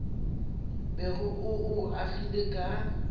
bego o o agile ka